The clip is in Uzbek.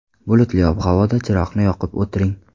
Bulutli ob-havoda chiroqni yoqib o‘tiring.